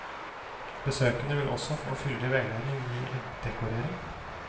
Besøkende vil også få fyldig veiledning i eggdekorering.